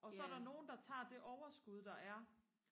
og så er der nogen der tager det overskud der er